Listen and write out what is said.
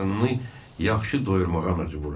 Qarnını yaxşı doyurmağa məcburam.